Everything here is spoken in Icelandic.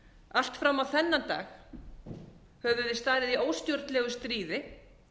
allt fram á þennan dag höfðum við staðið í óstjórnlegu stríði